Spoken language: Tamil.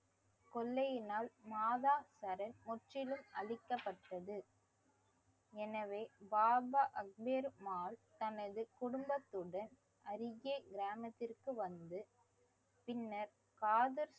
கொள்ளையினால் மாதா சரண் முற்றிலும் அழிக்கப்பட்டது எனவே பாபா அக்பேரு மால் தனது குடும்பத்துடன் அருகே கிராமத்திற்கு வந்து பின்னர் காதர்